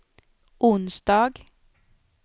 onsdag